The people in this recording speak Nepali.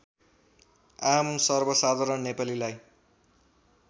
आम सर्वसाधारण नेपालीलाई